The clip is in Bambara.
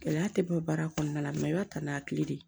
Gɛlɛya tɛ bɔ baara kɔnɔna na mɛ i b'a ta n'a tile de ye